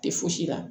Tɛ fosi la